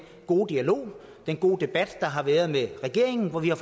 gode dialog den gode debat der har været med regeringen hvor vi har